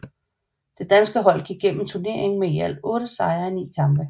Det danske hold gik igennem turneringen med i alt 8 sejre i 9 kampe